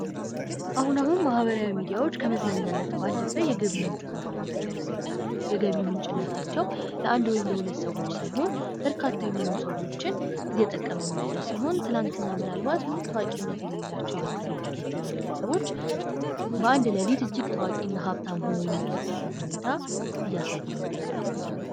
አሁን አሁን ማህበራዊ ሚዲያዎች ከመዝናኛነት ባለፈ የገቢ ምንጭ ሆኖው ይገኛሉ። የገቢ ምንጭነታቸው ለአንድ ወይም ለሁለት ሰዎች ሳይሆን በርካታ የሆነ ሰዎችን እየጠቀሙ ያለ ሲሆን ፤ ትናንትና ምናልባት ታዋቂነት የሌላቸው የንግድ ድርጅቶች ወይም ግለሰቦች በአንድ ሌሊት ታዋቂና ሀብታም ሆነው የሚያደርጉበትን ሁኔታ እያሳዩን ይገኛሉ።